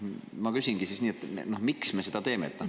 Ma küsingi siis nii: miks me seda teeme?